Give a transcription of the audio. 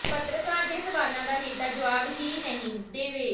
ਪੱਤਰਕਾਰ ਦੇ ਸਵਾਲਾਂ ਦਾ ਨੇਤਾ ਜਵਾਬ ਹੀ ਨਾ ਦੇਵੇ